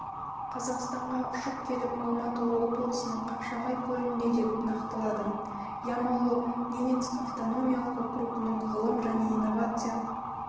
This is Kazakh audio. қазақстанға ұшып келіп алматы облысының қапшағай көлінде деп нақтылады ямало-ненецк автономиялық округының ғылым және инновация